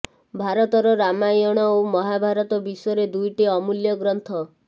ଭାରତର ରାମାୟଣ ଓ ମହାଭାରତ ବିଶ୍ୱରେ ଦୁଇଟି ଅମୂଲ୍ୟ ଗ୍ରନ୍ଥ